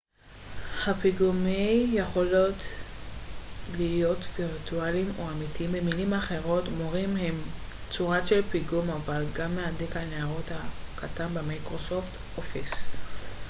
הפיגומי יכולים להיות וירטואליים או אמיתיים במילים אחרות מורים הם צורה של פיגום אבל גם מהדק הניירות הקטן במייקרוסופט אופיס